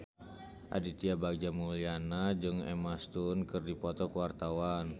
Aditya Bagja Mulyana jeung Emma Stone keur dipoto ku wartawan